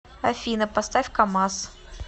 афина поставь камаз